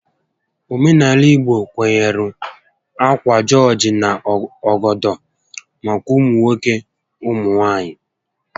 Óménàalà igbo kwenyere ákwà jọọjị na ọgọdọ maka ụmụ nwoke ụmụ nwaanyị